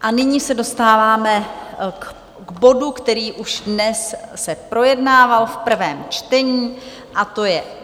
A nyní se dostáváme k bodu, který už dnes se projednával v prvém čtení, a to je